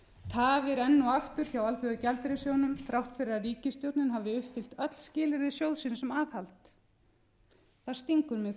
tafir enn og aftur hjá alþjóðagjaldeyrissjóðnum þrátt fyrir að ríkisstjórnin hafi uppfyllt öll skilyrði sjóðsins um aðhald það stingur mig